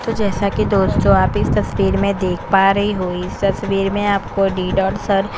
तो जैसा की दोस्तों आप इस तस्वीर में देख पा रहै हो इस तस्वीर में आपको डी डॉट सर --